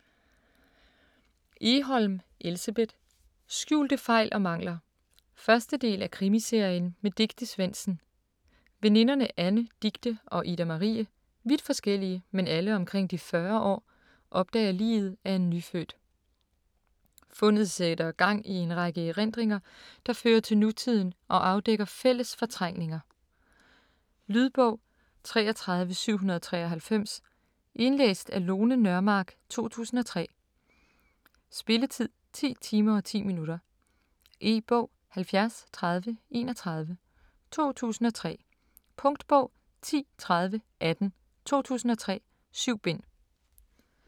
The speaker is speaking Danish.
Egholm, Elsebeth: Skjulte fejl og mangler 1. del af Krimiserien med Dicte Svendsen. Veninderne Anne, Dicte og Ida Marie - vidt forskellige, men alle omkring de 40 år - opdager liget af en nyfødt. Fundet sætter gang i en række erindringer, der fører til nutiden og afdækker fælles fortrængninger. . Lydbog 33793 Indlæst af Lone Nørmark, 2003. Spilletid: 10 timer, 10 minutter. E-bog 703031 2003. Punktbog 103018 2003. 7 bind.